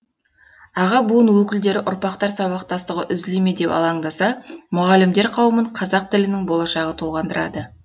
аға буын өкілдері ұрпақтар сабақтастығы үзіле ме деп алаңдаса мұғалімдер қауымын қазақ тілінің болашағы толғандырады